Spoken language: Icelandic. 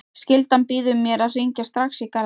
Skyldan býður mér að hringja strax í Garðar.